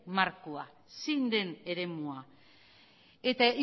markoa zein den eremua eta